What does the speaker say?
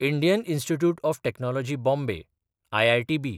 Indian institute of technology Bombay (IITB)